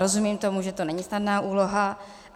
Rozumím tomu, že to není snadná úloha.